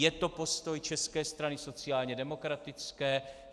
Je to postoj České strany sociálně demokratické?